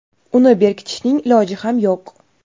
uni berkitishning iloji ham yo‘q.